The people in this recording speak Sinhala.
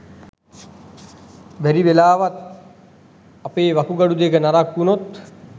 බැරිවෙලාවත් අපේ වකුගඩු දෙක නරක් වුණොත්